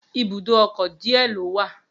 Ibùdó ọkọ̀ díẹ̀ ló wà